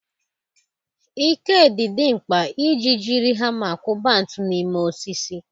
Ike dị mkpa iji jiri hama kụba ntu n'ime osisi.